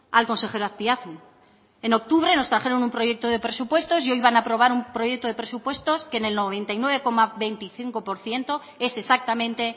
al consejero azpiazu en octubre nos trajeron un proyecto de presupuestos y hoy van a aprobar un proyecto de presupuestos que en el noventa y nueve coma veinticinco por ciento es exactamente